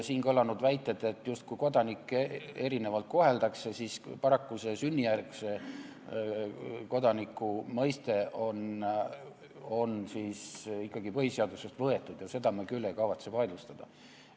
Siin on kõlanud väited, justkui kodanikke koheldaks erinevalt, siis paraku see sünnijärgse kodaniku mõiste on ikkagi põhiseadusest võetud ja seda me küll ei kavatse vaidlustada.